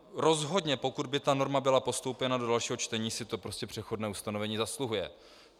Rozhodně pokud by tato norma byla postoupena do dalšího čtení, si to prostě přechodné ustanovení zasluhuje.